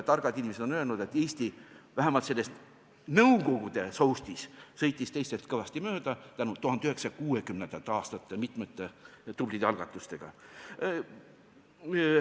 Targad inimesed on öelnud, et Eesti vähemalt selles nõukogude soustis sõitis teistest kõvasti mööda tänu 1960. aastate mitmetele tublidele algatustele.